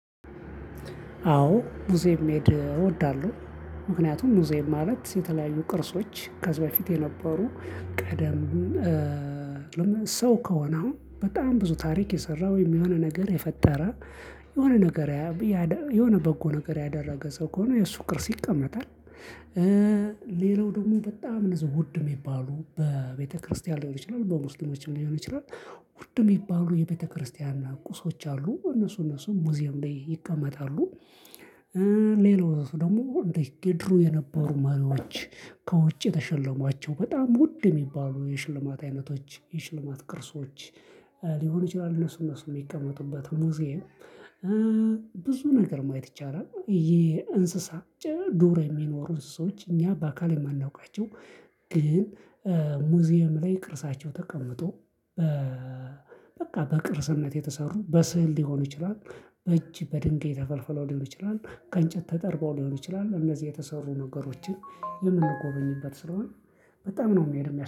አዎ ሙዚየም መሄድ እወዳለሁ። ምክንያቱም ሙዜየም ማለት የተለያዩ ቅርሶች ከዚህ በፊት የነበሩ ቀደም ሰው ከሆነ አሁን በጣም ብዙ ታሪክ የሰራው ወይም የሆነ ነገር የፈጠረ የሆነ ነገር ያያብ የሆነ በጎ ነገር ያደረገ ሰው ከሆነ የእሱ ቅርስ ይቀመጣል ሌላው ደግሞ በጣም እነዛ ውድ የሚባሉ በቤተክርስቲያን ሊሆን ይችላል በሙስሊሞችም ሊሆን ይችላል። ውድ የሚባሉ የቤተክርስቲያን ቁሶች አሉ እነሱ እነሱ ሙዚየም ላይ ይቀመጣሉ። ሌሎች ደግሞ እንደ ድሮ የነበሩ መሪዎች ከውጭ የተሸለሟቸው በጣም ውድ የሚባሉ የሽልማት አይነቶች የሽልማት ቅርሶች ሊሆን ይችላል እነሱ እነሱ የሚቀመጡበት ሙዚየም። ብዙ ነገር ማየት ይቻላል የእንስሳ ዶሮ የሚኖሩ እንስሶች እኛ በአካል የማናውቃቸው ግን ሙዚየም ላይ ቅርሳቸው ተቀምጦ በ በቃ በቅርስነት የተሰሩ በስዕል ሊሆኑ ይችላሉ። እጅ በድንጋይ ተፈልፍለው ሊሆን ይችላል ከእንጨት ተጠርበው ሊሆን ይችላል እነዚህ የተሰሩ ነገሮችን የምንጎበኝበት ስለሆነ በጣም ነው መሄድ